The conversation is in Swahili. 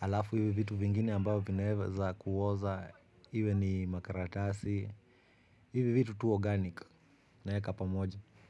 Alafu hivi vitu vingine ambavo vinaeza kuoza. Iwe ni makaratasi. Hivi vitu tu organic naeka pamoja.